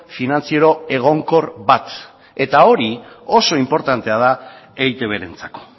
finantziero egonkor bat eta hori oso inportantea da eitbrentzako